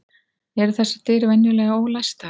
Eru þessar dyr venjulega ólæstar?